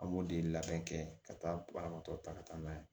An b'o de labɛn kɛ ka taa banabaatɔ ta ka taa n'a ye